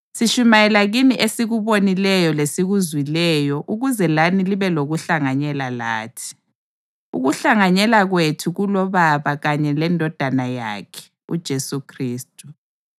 Sitshumayela kini esikubonileyo lesikuzwileyo ukuze lani libe lokuhlanganyela lathi. Ukuhlanganyela kwethu kuloBaba kanye leNdodana yakhe, uJesu Khristu.